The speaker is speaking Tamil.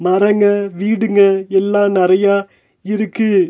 மரங்க வீடுங்க எல்லா நறையா இருக்கு.